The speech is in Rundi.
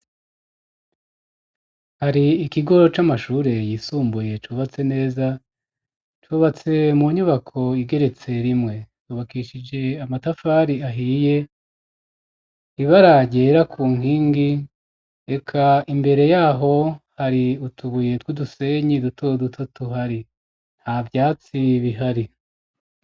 Hari ikigoro c'amashure yisumbuye cubatse neza, cubatse mu nyubako igeretse rimwe cubakishije amatafari ahiye, ibara ryera ku nkingi reka imbere yaho hari utubuye tw'udusenyi duto duto tuhari nta vyatsi bihari.